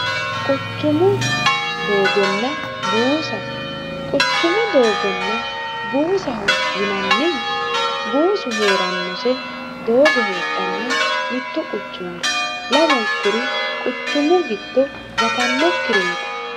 quchumu doogonna buusa quchumu doogonna buusahu yinannihu buusu hee'rannose doogo heedhanno mittu quchumiri lamunkuri quchummu gitto gatannokkireeti